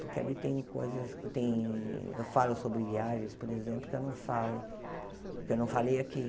Porque ali tem coisas que tem... Eu falo sobre viagens, por exemplo, que eu não falo, que eu não falei aqui.